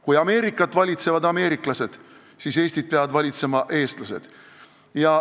Kui Ameerikat valitsevad ameeriklased, siis Eestit peavad valitsema eestlased.